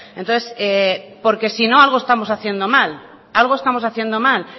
entonces porque sino algo estamos haciendo mal algo estamos haciendo mal